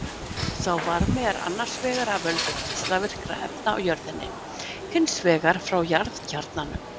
Sá varmi er annars vegar af völdum geislavirkra efna í jörðinni, hins vegar frá jarðkjarnanum.